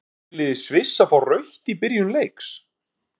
Átti fyrirliði Sviss að fá rautt í byrjun leiks?